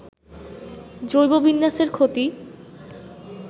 জৈব বিন্যাসের ক্ষতি